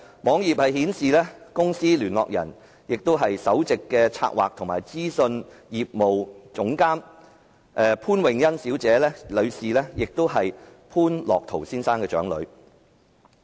網頁顯示，該公司的聯絡人為其首席企策及資訊業務總監潘穎欣，是潘樂陶先生的長女。